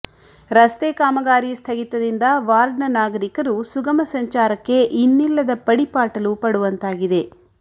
ರಸ್ತೆ ಕಾಮಗಾರಿ ಸ್ಥಗಿತದಿಂದ ವಾರ್ಡ್ನ ನಾಗರಿಕರು ಸುಗಮ ಸಂಚಾರಕ್ಕೆ ಇನ್ನಿಲ್ಲದ ಪಡಿಪಾಟಲು ಪಡುವಂತಾಗಿದೆ